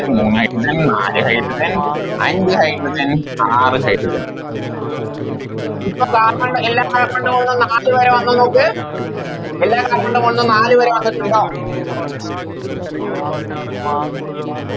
മൂന്ന് Hydrogen നാല് Hydrogen അഞ്ച് Hydrogen ആറ് Hydrogen ഇപ്പൊ Carbon ല് എല്ലാ Carbon ൻറെ മോളിലും നാല് വര വന്നൊന്ന് നോക്ക് എല്ലാ Carbon ന്റെ മോളിന്നും നാല് വര വന്നിട്ടുണ്ടോ